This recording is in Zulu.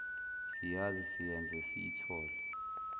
siyazi siyenze siyithole